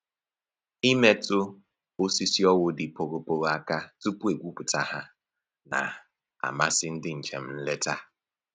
Imetụ osisi owu dị poghopogho aka tupu e gwupụta ha na-amasị ndị njem nleta